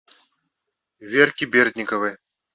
верке бердниковой